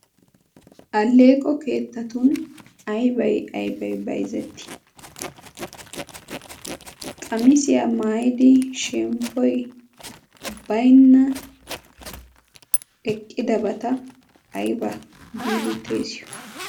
Alleeqo keettatun aybay aybay bayzetti qamisiyaa maayidi shemppoy baynna deqqidabata ayba giidi xeesiyo?